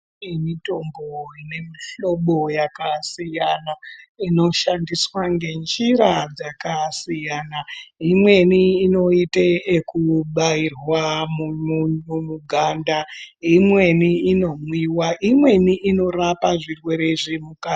Kune mitombo inemuhlobo yakasiyana inoshandiswa ngenjira dzakasiyana imweni inoita zvekubairwa mimuganda imweni inomwowa imweni inorapa zvirwere zvemukati.....